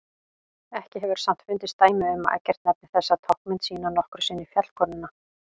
Ekki hefur samt fundist dæmi þess að Eggert nefni þessa táknmynd sína nokkru sinni fjallkonuna.